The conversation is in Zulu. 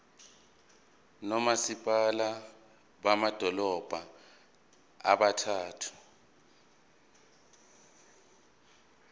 nomasipala bamadolobha abathathu